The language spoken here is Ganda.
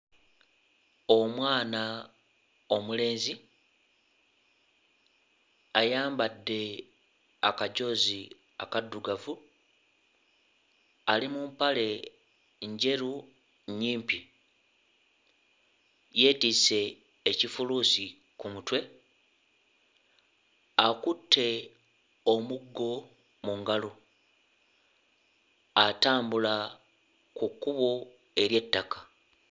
Omwana omulenzi ayambadde akajoozi akaddugavu, ali mu mpale njeru nnyimpi, yeetisse ekifuluusi ku mutwe, akutte omuggo mu ngalo atambula ku kkubo ery'ettaka.